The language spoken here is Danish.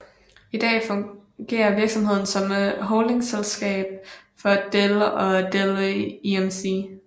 I dag fungerer virksomheden som holdingselskab for Dell og Dell EMC